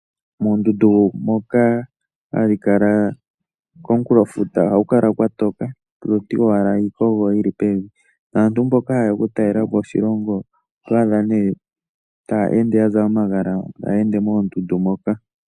Moondundu moka hadhi kala komukulofuta oha ku kala kwatoka, oto ti owala iikogo yi li pevi. Naantu mboka ha ye ya okutalela po oshilongo, oto adha ne ta ende ya zala omagala, taya ende moondundu moka.